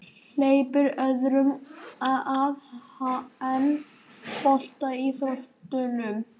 Hleypir öðrum að en boltaíþróttunum